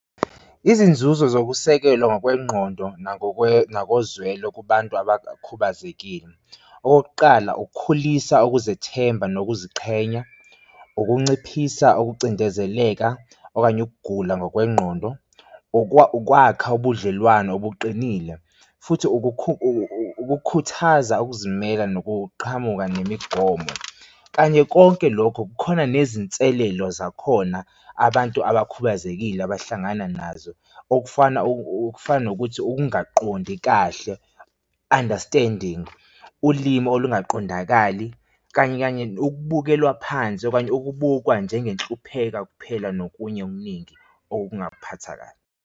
Izinzuzo zokusekelwa ngokwengqondo nangokozwelo kubantu abakhubazekile, okokuqala, ukukhulisa ukuzethemba nokuziqhenya, ukunciphisa ukucindezeleka okanye ukugula ngokwengqondo. Ukwakha ubudlelwano obuqinile futhi ukukhuthaza ukuzimela nokuqhamuka nemigomo, kanye konke lokho kukhona nezinselelo zakhona abantu abakhubazekile abahlangana nazo okufana ukufana nokuthi ukungaqondi kahle understanding ulimi olungaqondakali kanye kanye ukubukelwa phansi okanye ukubukwa njenge nhlupheko kuphela nokunye okuningi okungakuphatha kabi.